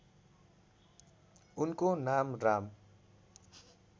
उनको नाम राम